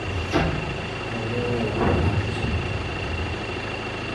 Cawradaada dadka ha tusin.